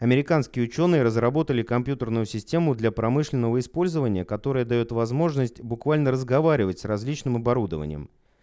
американские учёные разработали компьютерную систему для промышленного использования которая даёт возможность буквально разговаривать с различным оборудованием